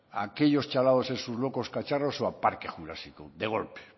a aquellos chalados en sus locos cacharros o a parque jurásico de golpe